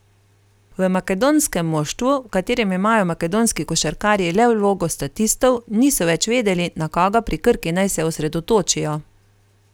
V makedonskem moštvu, v katerem imajo makedonski košarkarji le vlogo statistov, niso več vedeli, na koga pri Krki naj se osredotočijo.